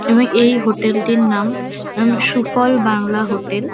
এবং এই হোটেল -টির নাম অম- সুফল বাংলা হোটেল ।